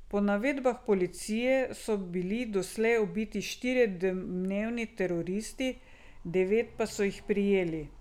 Po navedbah policije so bili doslej ubiti štirje domnevni teroristi, devet pa so jih prijeli.